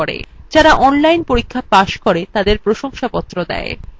যারা online পরীক্ষা pass করে তাদের প্রশংসাপত্র দেয়